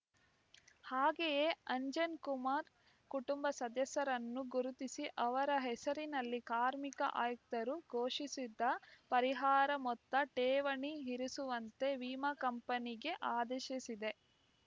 ಹಾಗೆಯೇ ಅಂಜನ್‌ ಕುಮಾರ್‌ ಕುಟುಂಬ ಸದಸ್ಯರನ್ನು ಗುರುತಿಸಿ ಅವರ ಹೆಸರಿನಲ್ಲಿ ಕಾರ್ಮಿಕ ಆಯುಕ್ತರು ಘೋಷಿಸಿದ್ದ ಪರಿಹಾರ ಮೊತ್ತ ಠೇವಣಿ ಇರಿಸುವಂತೆ ವಿಮಾ ಕಂಪನಿಗೆ ಆದೇಶಿಸಿದೆ